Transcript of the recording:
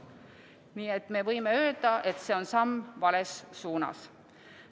Nii et me võime öelda, et see on samm vales suunas.